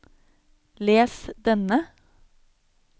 les denne